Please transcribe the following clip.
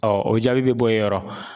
o jaabi bɛ bɔ i yɔrɔ .